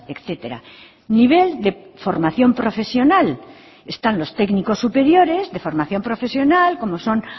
etcétera nivel de formación profesional están los técnicos superiores de formación profesional como son